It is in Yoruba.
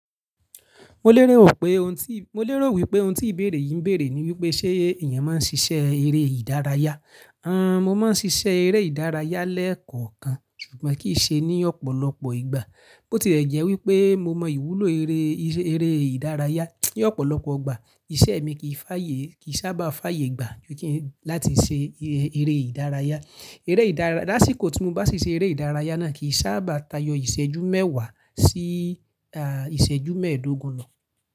Mo léròo pé oun tí, mo lérò wípé oun tí ìbéèrè yìí ń béèrè ni wípé ṣé èèyàn máa ń ṣiṣẹ́ eré ìdárayá? Hanhn, mo máa ń ṣiṣẹ́ eré ìdárayá lẹ́ẹ̀kọ̀kan ṣùgbọ́n kì í ṣe ní ọ̀pọ̀lọpọ̀ ìgbà. Bó ti rẹ̀ jẹ́ wípé mo mọ ìwúlò eré, eré ìdárayá ní ọ̀pọ̀lọpọ̀ igbà, iṣẹ́ mi kì í fàyè, kì í sábà fàyè gbà láti ṣe eré ìdárayá. Eré ìdára, lásìkò tí mo bá siṣe eré ìdárayá náà kì í sábà tayọ ìṣẹ́jú mẹ́wàá sí ìṣẹ́jú mẹ́ẹ̀ẹ́dógún lọ.